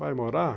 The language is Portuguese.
Vai morar?